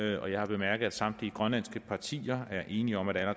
jeg har bemærket at samtlige grønlandske partier er enige om at